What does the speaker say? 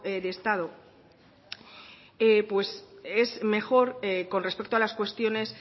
de estado es mejor con respecto a las cuestiones